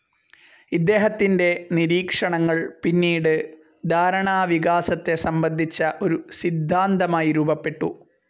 ഇദ്ദേഹത്തിന്റെ നിരീക്ഷണങ്ങൾ പിന്നീട് ധാരണാവികാസത്തെ സംബന്ധിച്ച ഒരു സിദ്ധാന്തമായി രൂപപ്പെട്ടു.